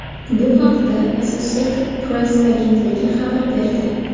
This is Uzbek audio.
Bu haqda Associated Press agentligi xabar berdi .